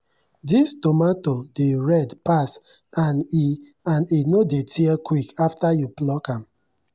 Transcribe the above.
this tomato dey red pass and e and e no dey tear quick after you pluck am.